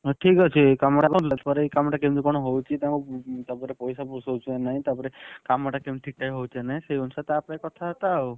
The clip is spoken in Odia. ହଉ ଠିକ୍ ଅଛି କାମ ଦେଖନ୍ତୁ ଏ କାମ ଟା କେମିତି କଣ ହଉଚି ତାଙ୍କୁ ତାପରେ ପଇସା ପୋଷଉଚି ନା ନାଇଁ ତାପରେ କାମଟା କେମିତି ଠିକ୍ ଠାକ ହଉଚି ନାନାଇଁ ସେଇ ଅନୁସାରେ ତାପରେ ଯାଇଁ କଥା ବାର୍ତା ଆଉ।